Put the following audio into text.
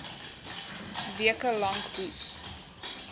weke lank hoes